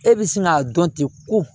E bɛ sin k'a dɔn ten ko